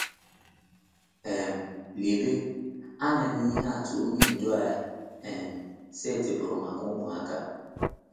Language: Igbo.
um Leba anya na ihe atụ Onye Ndu anyị um setịpụrụ maka ụmụaka.